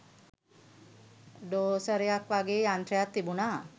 ඩෝසරයක් වගෙ යන්ත්‍රයක් තිබුණා